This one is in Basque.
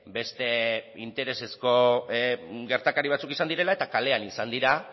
beste interesezko gertakari batzuk izan direla eta kalean izan dira